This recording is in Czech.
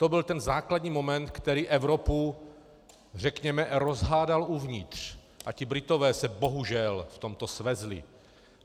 To byl ten základní moment, který Evropu řekněme rozhádal uvnitř, a ti Britové se bohužel v tomto svezli.